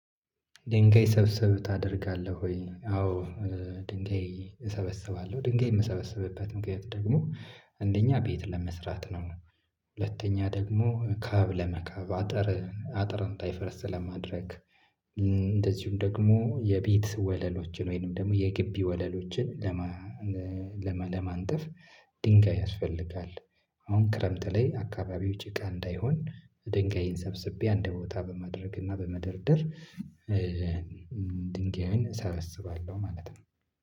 ድንጋይ ሰብስብ ታደርጋለህ ወይ? አዎ። ድንጋይ እሰበስባለሁ ድንጋይ የምሰበስብበት ምክንያት ደግሞ አንደኛ ቤት ለመስራት ነው። ሁለተኛ ደግሞ ካብ ለመካብ አጥር አጥር አ እንዳ ይፈርስ ለማድረግ። እንደዚሁም ደግሞ የቤት ወለሎችን ወይንም ደግሞ የግቢ ወለሎችን ለማ ለማ ለማንጠፍ ድንጋይ ያስፈልጋል። አሁን ክረምት ላይ አካባቢው ጭቃ እንዳይሆን ድንጋይን ሰብስቤ አንድ ቦታ በማድረግ እና በመደርደር። ድንጋዩን እሰበስባለሁ ማለት ነው